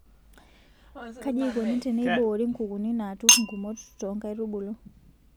Kaji eikoni teneiboori nkukuni naaturr ngumot too nkaitubulu.